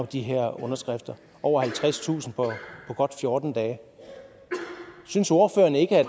de her underskrifter over halvtredstusind på godt fjorten dage synes ordføreren ikke at